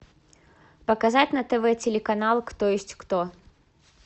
показать на тв телеканал кто есть кто